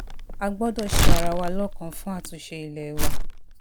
a gbọ́dọ̀ gbọ́dọ̀ ṣe ara wa lọ́kan fún àtúnṣe ilé wa